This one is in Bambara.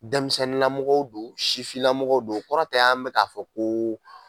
Denmisɛnninlamɔgɔw don sifinlamɔgɔw don, o kɔrɔ tɛ an bɛ k'a fɔ ko